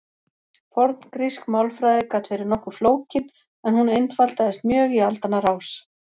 forngrísk málfræði gat verið nokkuð flókin en hún einfaldaðist mjög í aldanna rás